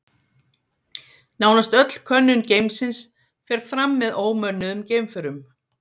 Nánast öll könnun geimsins fer fram með ómönnuðum geimförum.